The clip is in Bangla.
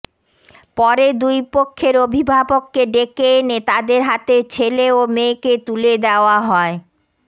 পরে দুই পক্ষের অভিভাবককে ডেকে এনে তাদের হাতে ছেলে ও মেয়েকে তুলে দেওয়া হয়